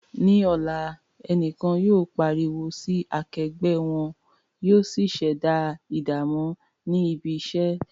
Ní ọ̀la, ẹnìkan yóò pariwo sí akẹgbẹ́ wọn, yóò sì ṣẹ̀dá ìdààmú ní ibi iṣẹ́.